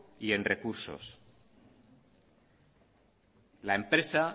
y en recursos la empresa